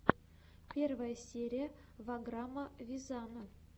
первая серия ваграма вазяна